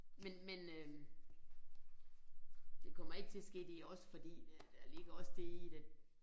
Men men øh det kommer ikke til at ske det også fordi det der ligger også det i det at